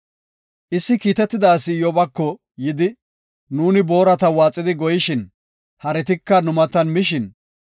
Issi kiitetida asi Iyyobako yidi, “Nuuni boorata waaxidi goyishin, haretika nu matan mishin,